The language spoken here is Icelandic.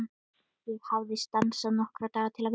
Ég hafði stansað nokkra daga til að vinna.